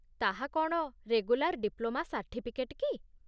ତାହା କ'ଣ regular diploma certificate କି?